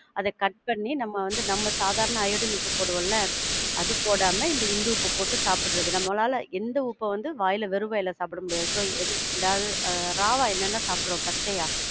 அத cut பண்ணி, நாம வந்து நம்ம சாதாரண அயோடின் உப்பு போடுவோம்ல, அது போடாம இந்துப்பு போட்டு சாப்புடுறது. நம்மளால எந்த உப்பு வந்து வாயில, வெறும் வாயில சாப்பிட முடியாது. so எது, raw வா என்னென்ன சாப்பிடுறோம், பச்சையா?